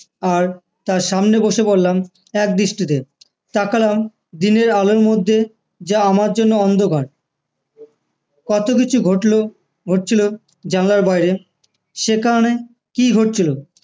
আর তার সামনে বসে পড়লাম এক দৃষ্টিতে তাকালাম দিনের আলোর মধ্যে যা আমার জন্য অন্ধকার কত কিছু ঘটলো ঘটেছিলো জানলার বাইরে সেখানে কি হচ্ছিলো